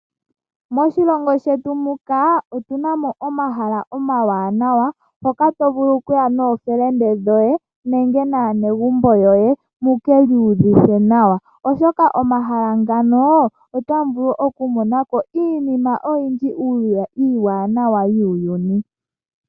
Moshilongo shetu muka otuna mo omahala omawanawa hoka to vulu okuya nookume koye nenge naanegumbo yoye. Mukiiyuvithe nawa oshoka omahala ngano otamu vulu oku monako iinima oyindji iiwanawa yuuyuni.